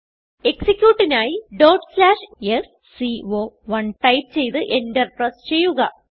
എക്സിക്യൂട്ടിനായി sco1 type ചെയ്ത് Enter press ചെയ്യുക